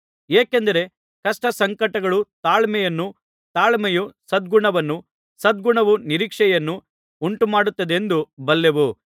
ಏಕೆಂದರೆ ಕಷ್ಟಸಂಕಟಗಳು ತಾಳ್ಮೆಯನ್ನು ತಾಳ್ಮೆಯೂ ಸದ್ಗುಣವನ್ನು ಸದ್ಗುಣವು ನಿರೀಕ್ಷೆಯನ್ನು ಉಂಟುಮಾಡುತ್ತದೆಂದು ಬಲ್ಲೆವು